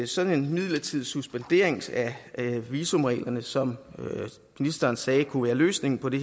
sådan en midlertidig suspendering af visumreglerne som ministeren sagde kunne være løsningen på det